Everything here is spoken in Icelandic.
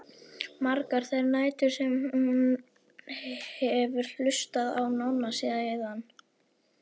Margar þær nætur sem hún hefur hlustað á Nonna síðan.